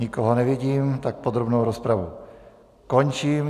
Nikoho nevidím, tak podrobnou rozpravu končím.